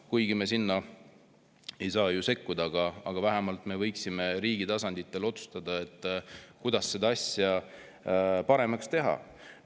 Kuigi me sinna ei saa ju sekkuda, aga vähemalt me võiksime riikide tasandil otsustada, kuidas seda asja paremaks teha.